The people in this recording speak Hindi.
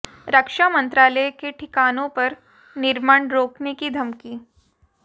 रक्षा मंत्रालय के ठिकानों पर निर्माण रोकने की धमकी